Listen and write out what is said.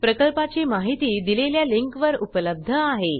प्रकल्पाची माहिती दिलेल्या लिंकवर उपलब्ध आहे